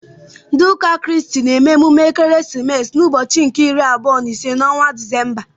Ndị ụka Kraịst na-eme emume ekeresimesi n'ụbọchị nke iri abụọ na ise n'ọnwa Disemba.